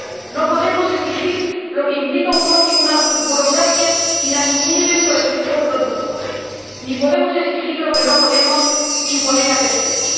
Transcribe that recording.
No podemos exigir algo que implica un coste y una burocracia inasumibles por el sector productor ni podemos exigir lo que no podemos imponer a terceros